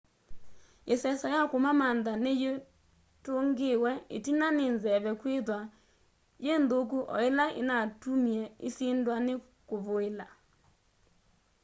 iseso ya kumamantha ni yitungiwe itina ni nzeve kwithiwa yi nthuku o ila inatumie isindwa ni kuvuila